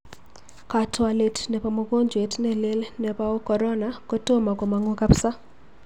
Kaatwolet napaa mugojwet nelel nepao korona kotoma komang'u kapsa.